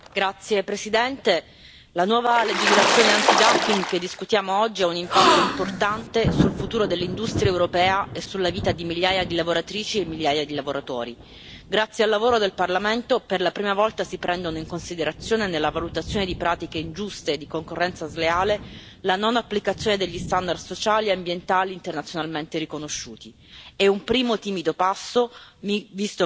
Signora Presidente, onorevoli colleghi, la nuova legislazione antidumping che discutiamo oggi ha un impatto importante sul futuro dell'industria europea e sulla vita di migliaia di lavoratrici e migliaia di lavoratori. Grazie al lavoro del Parlamento, per la prima volta si prende in considerazione, nella valutazione di pratiche ingiuste di concorrenza sleale, la non applicazione degli standard sociali e ambientali internazionalmente riconosciuti.